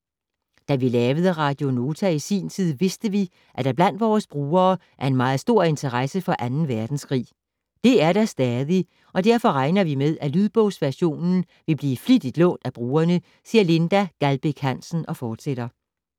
- Da vi lavede Radio Nota i sin tid, vidste vi, at der blandt vores brugere er en meget stor interesse for Anden Verdenskrig. Det er der stadig, og derfor regner vi med, at lydbogsversionen vil blive flittigt lånt af brugerne, siger Linda Gjaldbæk Hansen og fortsætter: